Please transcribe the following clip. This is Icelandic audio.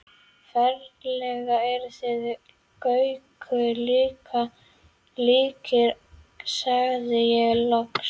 Ferlega eruð þið Gaukur líkir sagði ég loks.